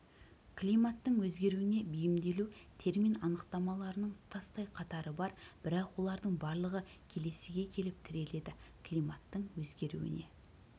климаттың өзгеруіне бейімделу термин анықтамаларының тұтастай қатары бар бірақ олардың барлығы келесіге келіп тіреледі климаттың өзгеруіне